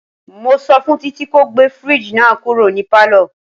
Mo sọ fún Títí ko gbé fridge náà kúrò ní palo.